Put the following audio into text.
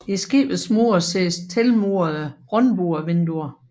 I skibets mure ses tilmurede rundbuevinduer